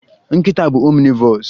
Nkịta bụ omnivores